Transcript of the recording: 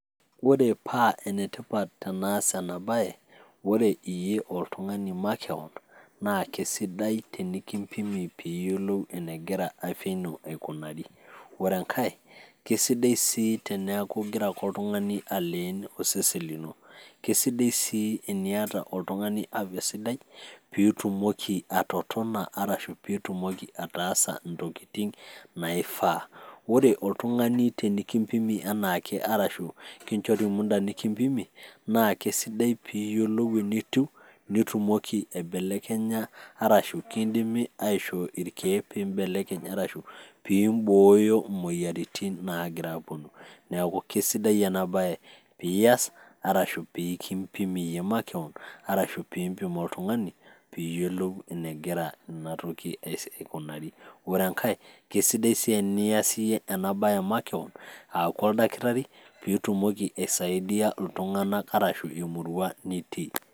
Ore paa ene tipat tenaas ena baye naa ore iyie oltung'ani makeon naa kesidai tenikimpimi pee iyolou enegira afya ino aikunari. Ore enkae kesidai sii teneeku ig'ira ake oltung'ani aleen osesen lino, kesidai sii eniyata oltung'ani [afya] sidai piitumoki atototona arashu piitumoki ataasa ntokitin naifaa. Ore oltung'ani tenekimpimi enaake arashu tenikinjori muda nekimpimi, naa kesidai piiyolou enitiu nitumoki aibelekenya arashu kindimi aishoo irkeek piimbelekeny arashu piimboyo moyiaritin naagira aaponu. Neeku kesidai ena baye pias arashu pee kimpimi iye makeon arashu piimpim oltung'ani piiyolou enegira ina toki aikunari. Ore enkae kesidai sii enias iye ena baye makeon aaku oldakitari piitumoki aisaidia iltung'anak arashu emurua nitii.